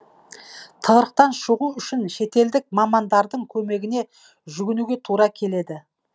тығырықтан шығу үшін шетелдік мамандардың көмегіне жүгінуге тура келеді